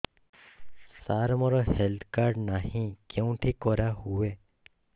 ସାର ମୋର health card ନାହିଁ କେଉଁଠି କରା ହୁଏ